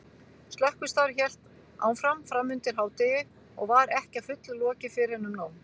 Slökkvistarf hélt áfram framundir hádegi og var ekki að fullu lokið fyrren um nón.